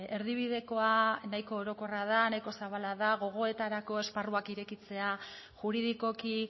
erdibidekoa nahiko orokorra da nahiko zabala da gogoetarako esparruak irekitzea juridikoki